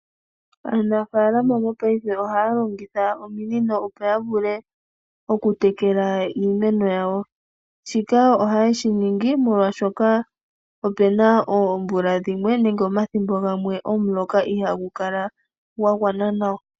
Aanafalama mopaife ohaya longitha ominino, opo ya vule oku tekela iimeno yawo. Shika ohaye shingi, molwaashoka opuna oomvula dhimwe nenge omathimbo gamwe omuloka ihaagu kala gwa gwana nawa.